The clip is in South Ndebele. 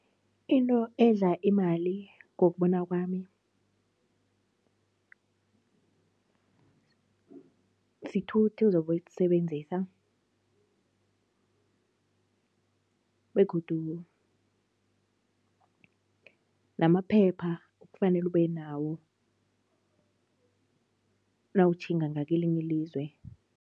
Into edla imali ngokubona kwami, sithuthi uzobe usisebenzisa begodu namaphepha okufanele ube nawo nawutjhinga ngakwelinye ilizwe.